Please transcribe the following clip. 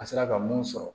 An sera ka mun sɔrɔ